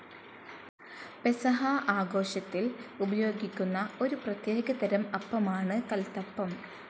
പെസഹാ ആഘോഷത്തിൽ ഉപയോഗിക്കുന്ന ഒരു പ്രത്യേകതരം അപ്പമാണ് കൽത്തപ്പം.